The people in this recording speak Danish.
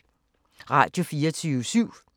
Radio24syv